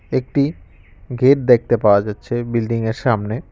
একটি গেট দেখতে পাওয়া যাচ্ছে বিল্ডিং -এর সামনে।